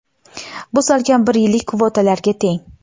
Bu salkam bir yillik kvotalarga teng.